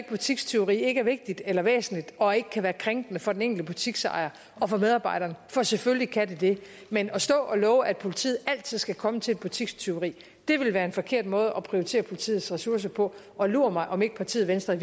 butikstyveri ikke er vigtigt eller væsentligt og ikke kan være krænkende for den enkelte butiksejer og for medarbejderen for selvfølgelig kan det det men at stå og love at politiet altid skal komme til et butikstyveri vil være en forkert måde at prioritere politiets ressourcer på og lur mig om ikke partiet venstre i